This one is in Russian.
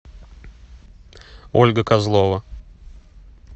ольга козлова